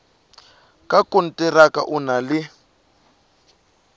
ka rakonteraka o na le